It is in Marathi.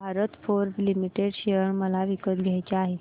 भारत फोर्ज लिमिटेड शेअर मला विकत घ्यायचे आहेत